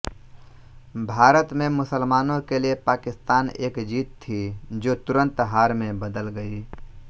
भारत में मुसलमानों के लिए पाकिस्तान एक जीत थी जो तुरंत हार में बदल गई